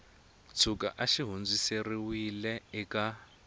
tshuka a xi hundziserile eka